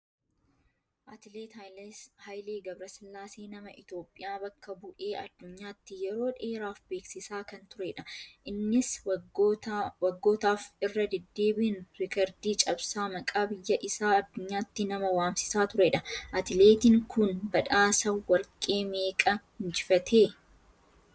Atileet Haayilee Gabrasillaasee nama Itoophiyaa bakka bu'ee addunyaatti yeroo dheeraaf beeksisaa kan turedha. Innis waggootaaf irra deddeebiin riikardii cabsaa maqaa biyya isaa addunyaatti nama waamsisaa turedha. Atileetiin kun badhaasa warqee meeqa injifatee?